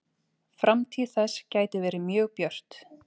Framtíð þess gæti verið mjög björt.